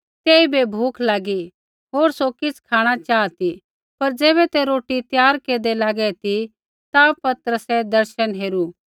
तेइबै भूख लागी होर सौ किछ़ खाँणा चाहा ती पर ज़ैबै ते रोटी त्यार केरदै लागै ती ता पतरसै दर्शन हेरू